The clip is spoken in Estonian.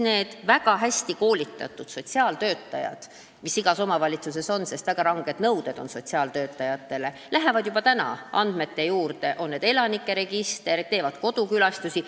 Need väga hästi koolitatud sotsiaaltöötajad – neile on väga ranged nõuded –, kes on igas omavalitsuses, lähevad juba praegu andmebaasidesse, näiteks elanikeregistrisse, ja teevad kodukülastusi.